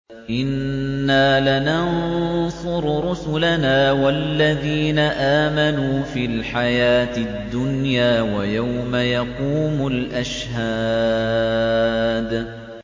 إِنَّا لَنَنصُرُ رُسُلَنَا وَالَّذِينَ آمَنُوا فِي الْحَيَاةِ الدُّنْيَا وَيَوْمَ يَقُومُ الْأَشْهَادُ